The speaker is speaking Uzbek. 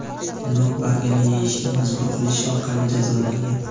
nok bargini yeyishga majbur qilish orqali jazolagan.